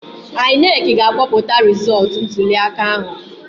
INEC ga-akpọpụta rizọtụ ntuliaka ahụ